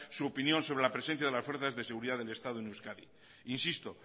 su opinión sobre la presencia de las fuerzas de seguridad del estado en euskadi insisto